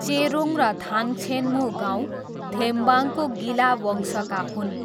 चेरोङ र ताङ्छेन्मू गाउँ थेम्बाङको गिला वंशका हुन्।